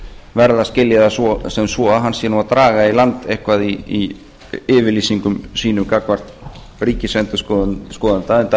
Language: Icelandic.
verð að skilja það sem svo að hann sé nú að draga í land eitthvað í yfirlýsingum sínum gagnvart ríkisendurskoðanda enda